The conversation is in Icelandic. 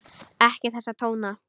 Ekki þessa tóna!